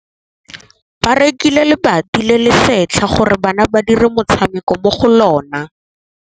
Ba rekile lebati le le setlha gore bana ba dire motshameko mo go lona.